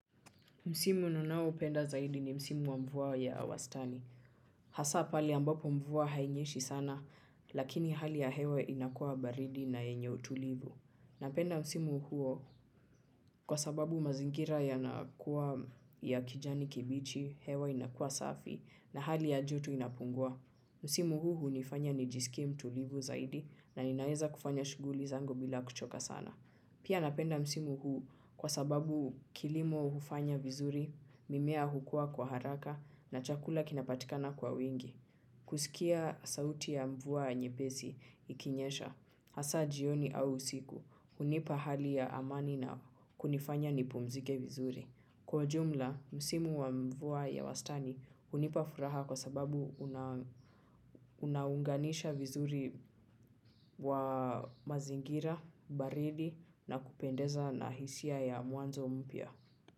Msimu ninaoupenda zaidi ni msimu wa mvua ya wastani. Hasa pale ambapo mvua hainyeshi sana, lakini hali ya hewe inakuwa baridi na yenye utulivu. Napenda msimu huo kwa sababu mazingira yanakuwa ya kijani kibichi, hewe inakuwa safi na hali ya joto inapungua. Msimu huu hunifanya nijisikie mtulivu zaidi na ninaweza kufanya shughuli zangu bila kuchoka sana. Pia napenda msimu huu kwa sababu kilimo hufanya vizuri, mimea hukua kwa haraka na chakula kinapatikana kwa wingi. Kusikia sauti ya mvua nyepesi ikinyesha, hasa jioni au usiku, hunipa hali ya amani na kunifanya nipumzike vizuri. Kwa jumla, msimu wa mvua ya wastani hunipa furaha kwa sababu unaunganisha vizuri wa mazingira, baridi na kupendeza na hisia ya mwanzo mpya.